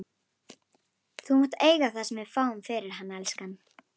Þú mátt eiga það sem við fáum fyrir hann, elskan.